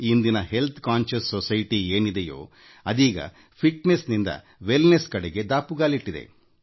ಇಂದಿನ ಆರೋಗ್ಯ ಕಾಳಜಿಯ ಸಮಾಜದವು ದೃಢ ಕಾಯದಿಂದ ಉತ್ತಮಿಕೆಯಕಡೆಗೆ ದಾಪುಗಾಲಿಟ್ಟಿದೆ